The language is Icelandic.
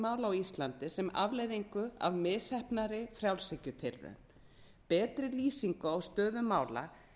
mála á íslandi sem afleiðingu af misheppnaðri frjálshyggjutilraun betri lýsing á stöðu mála